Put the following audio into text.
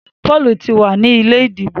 Paul tí wá ní ilé ìdìbò.